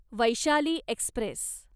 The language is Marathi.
वैशाली एक्स्प्रेस